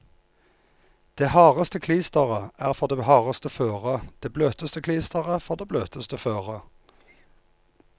Det hardeste klisteret er for det hardeste føret, det bløteste klisteret for det bløteste føret.